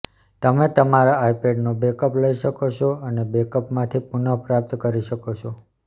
તમે તમારા આઇપેડનો બેકઅપ લઈ શકશો અને બેકઅપમાંથી પુનઃપ્રાપ્ત કરી શકો છો